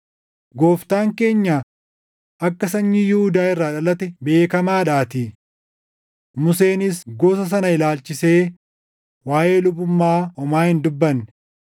Gooftaan keenya akka sanyii Yihuudaa irraa dhalate beekamaadhaatii; Museenis gosa sana ilaalchisee waaʼee lubummaa homaa hin dubbanne.